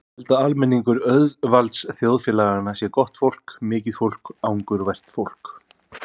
Ég held að almenningur auðvaldsþjóðfélaganna sé gott fólk, mikið fólk, angurvært fólk.